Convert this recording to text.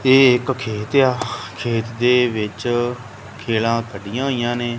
ਇਹ ਇੱਕ ਖੇਤ ਏ ਆ ਖੇਤ ਦੇ ਵਿੱਚ ਖਿਲਾ ਕੱਢੀਆਂ ਹੋਈਆਂ ਨੇ।